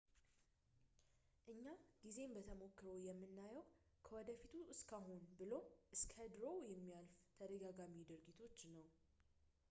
እኛ ጊዜን በተሞክሮ የምናየው ከወደፊቱ እስከ አሁን ብሎም እስከ ድሮው እንደሚያልፍ ተደጋጋሚ ድርጊቶች ነው